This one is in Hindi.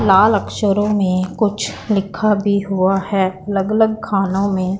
लाल अक्षरों में कुछ लिखा भी हुआ है अलग अलग खानों में--